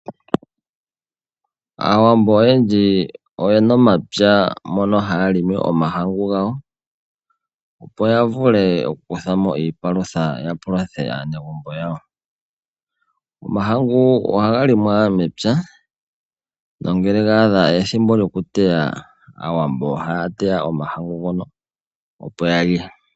Aawambo oyendji oyena omapya mono haya limi omahangu gawo opo yavule okukuthamo iipalutha yapaluthe aanegumbo yawo. Omahangu ohaga limwa mepya nongele ga adha ethimbo lyokuteya aawambo ohaya teya omahangu ngono opo yalye.